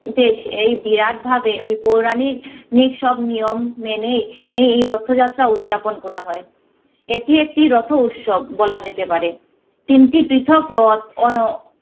এই বিরাট ভাবে ওই পৌরাণিক নিক সব নিয়ম মেনে নেই এই রথযাত্রা উদযাপন করা হয়। এটি একটি রথ উৎসব বলা যেতে পারে। তিনটি পৃথক রথ